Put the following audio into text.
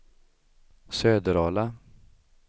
Söderala